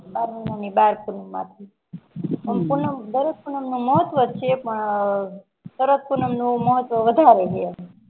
બાર મહિના ની બાર પૂનમ આવે, દરેક પૂનમ નું મહત્વ છે પણ શરદ પૂનમ નું મહત્વ વધારે છે.